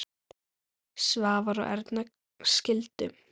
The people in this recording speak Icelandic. Svavar og Erna skildu.